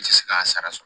N tɛ se k'a sara so